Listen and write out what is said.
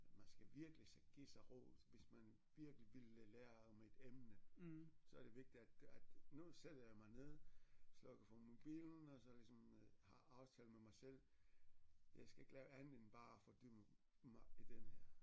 Man skal virkelig sig give sig ro hvis man virkelig ville lære om et emne så er det vigtigt at at nu sætter jeg mig ned slukker for mobilen og så ligesom har aftalt med mig selv jeg skal ikke lave andet end bare at fordybe mig i den her